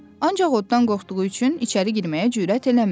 Ancaq oddan qorxduğu üçün içəri girməyə cürət eləmədi.